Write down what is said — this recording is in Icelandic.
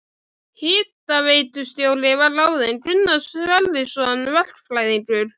Hitaveitustjóri var ráðinn Gunnar Sverrisson verkfræðingur.